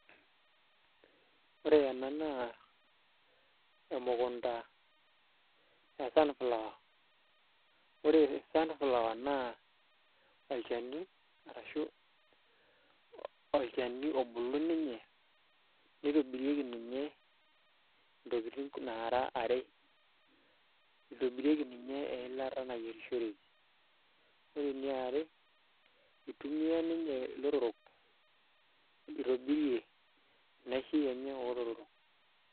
Ore ena naa emukunta e sunflower ore sunflower naa olchani arashu olchani obulu ninye nitobirieki ninye ntokitin naara are itobirieki ninye eilata nayierishoreki ore eniare itumiaa ilotorrok itobirie inaishi enye oolotorok.